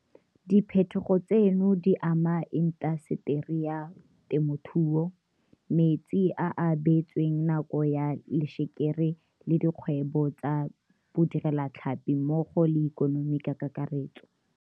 Diphetogo tseno di ama intaseteri ya temothuo, metsi a a beetsweng nako ya lešekere le dikgwebo tsa bodirelatlhapi mmogo le ikonomi ka kakaretso.